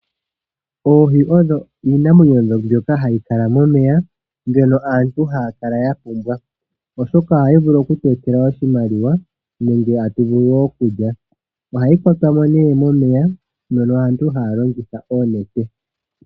Oohi odho iinamwenyo ndyoka hayi kala momeya ndyono aantu haya kala yapumbwa oshoka ohayi vulu okutu etela oshimaliwa nenge tatu vulu woo okulya ohayi kwatwa mo momeya mono aantu haya longitha oonete